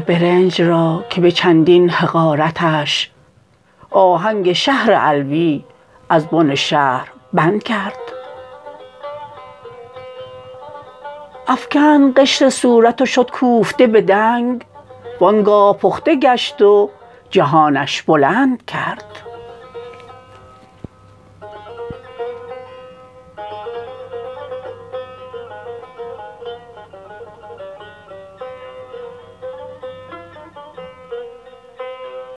برنج را که به چندین حقارتش آهنگ شهر علوی از بن شهر بند کرد افکند قشر صورت و شد کوفته بدنگ وانگاه پخته گشت و جهانش بلند کرد